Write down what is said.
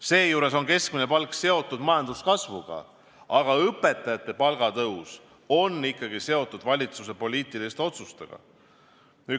Seejuures on keskmine palk seotud majanduskasvuga, aga õpetajate palga tõus on ikkagi seotud valitsuse poliitiliste otsustega.